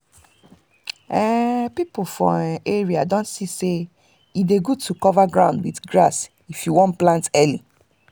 um people for um area don see say e dey good to cover ground with grass if you want plant early.